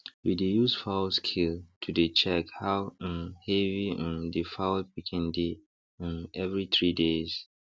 we dey use fowl scale to dey check how um heavy um the fowl pikin dey um every three days